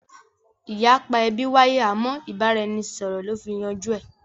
Ìyapa ẹbí wáyé àmọ́ ìbára-ẹni-sọ̀rọ̀ lọ fi yanjú ẹ